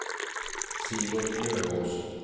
Sivert Løvås